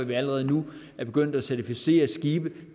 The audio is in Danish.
vi allerede nu er begyndt at certificere skibe